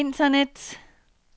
internet